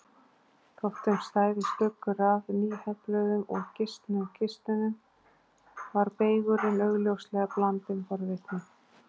Þótt þeim stæði stuggur af nýhefluðum og gisnum kistunum var beygurinn augljóslega blandinn forvitni.